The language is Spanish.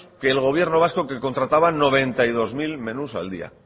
que el gobierno vasco que contrataba noventa y dos mil menús al día